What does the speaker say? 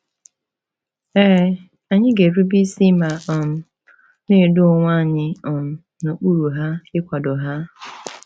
Ee, anyị ga-erube isi ma um na-edo onwe anyị um n’okpuru ha, ịkwado ha.